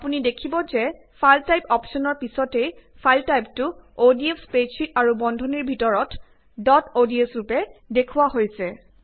অপুনি দেখিব যে ফাইল টাইপ অপ্শ্বনৰ পিছতেই ফাইল টাইপটো অডিএফ স্প্ৰেডশ্বিত আৰু বন্ধনীৰ ভিতৰত ডট অডছ ৰূপে দৃশ্যমান হৈছে